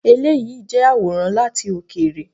Eléyìí jẹ́ àwòrán láti òkèèrè.